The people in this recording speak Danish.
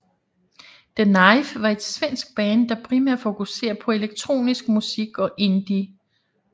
The Knife var et svensk band der primært fokuserer på elektronisk musik og indie